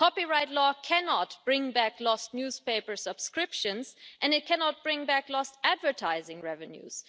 Copyright law cannot bring back lost newspaper subscriptions and it cannot bring back lost advertising revenues.